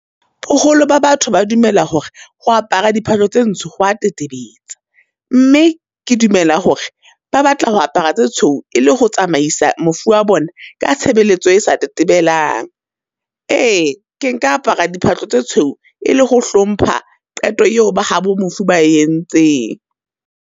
Boholo ba batho ba dumela hore ho apara diphahlo tse ntsho ho wa tetebetsa, mme ke dumela hore ba batla ho apara tsa tshweu e le ho tsamaisa mofu wa bona ka tshebeletso e sa tetebelang. Ee ke nka apara diphahlo tsa tshweu e le ho hlompha qeto eo ba habo mofu ba e entseng.